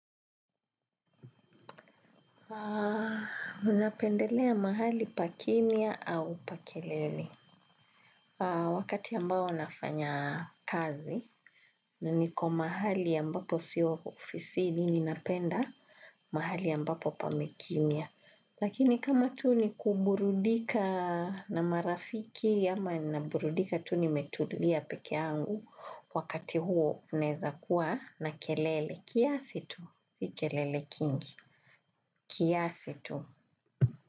Haa, mi napendelea mahali pa kimya au pa kelele. Haa, wakati ambao nafanya kazi, na niko mahali ambapo sio ofisini ninapenda mahali ambapo pame kimya. Lakini kama tu ni kuburudika na marafiki, ama naburudika tu ni metulia peke yangu wakati huo unaeza kuwa na kelele. Kiasi tu, si kelele kingi. Kiasi tu.